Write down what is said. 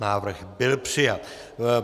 Návrh byl přijat.